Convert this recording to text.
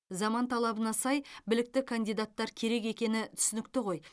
заман талабына сай білікті кандидаттар керек екені түсінікті ғой